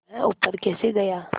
वह ऊपर कैसे गया